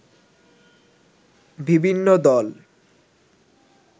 বিভিন্ন দল